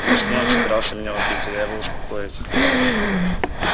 ну точнее он собирался меня убить а я его упокоить